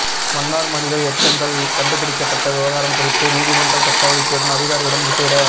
மன்னார் மனித எச்சங்கள் கண்டுபிடிக்கப்பட்ட விவகாரம் குறித்து நீதிமன்ற சட்ட வைத்திய அதிகாரியுடன் விசேட